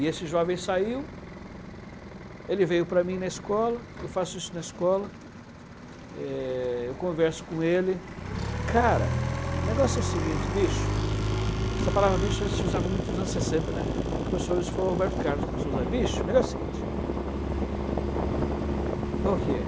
e esse jovem saiu, ele veio para mim na escola, eu faço isso na escola, eh, eu converso com ele, cara, o negócio é o seguinte, bicho, essa palavra bicho a gente usava muito nos anos sessenta, né, quem começou isso foi o Roberto Carlos começou a usar, bicho, mas o negócio é o seguinte, qual que é?